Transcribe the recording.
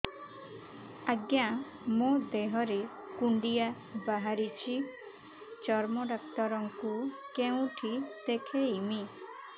ଆଜ୍ଞା ମୋ ଦେହ ରେ କୁଣ୍ଡିଆ ବାହାରିଛି ଚର୍ମ ଡାକ୍ତର ଙ୍କୁ କେଉଁଠି ଦେଖେଇମି